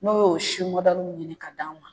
N'o y'o si mɔdɛli ɲini ka d'a ma